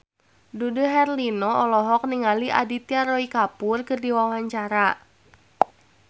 Dude Herlino olohok ningali Aditya Roy Kapoor keur diwawancara